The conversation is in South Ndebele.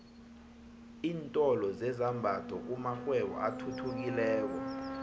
iintolo zezambatho kumakghwebo athuthukileko